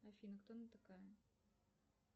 афина кто она такая